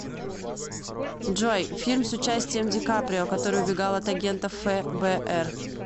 джой фильм с участием ди каприо который убегал от агентов фэ бэ эр